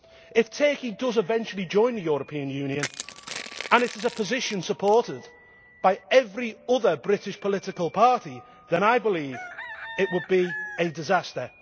If Turkey does eventually join the European Union and it is a position supported by every other British political party then I believe it would be a disaster.